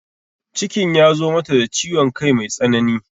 Cikin ya zo mata da ciwon kai mai tsanani